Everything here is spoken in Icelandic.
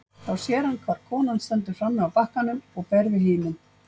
Þá sér hann hvar konan stendur frammi á bakkanum og ber við himin.